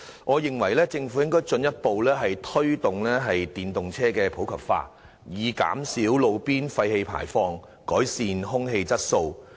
我認為政府應進一步推動電動車普及化，以減少路邊廢氣排放，改善空氣質素。